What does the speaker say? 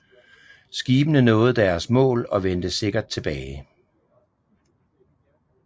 Skibene nåede deres mål og vendte sikkert tilbage